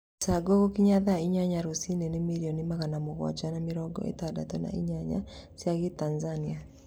Mĩcango gũkinyia thaa inyanya rũci-inĩ ni milioni magana mũgwanja ma mĩrongo ĩtandatũ na inya cia gitanzania